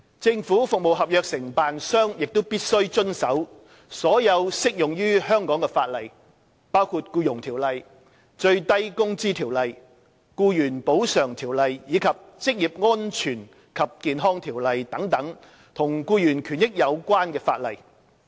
政府服務合約承辦商亦必須遵守所有適用於香港的法例，包括《僱傭條例》、《最低工資條例》、《僱員補償條例》，以及《職業安全及健康條例》等與僱員權益有關的法例。